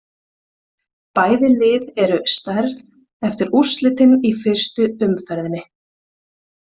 Bæði lið eru særð eftir úrslitin í fyrstu umferðinni.